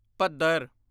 ਭਦਰ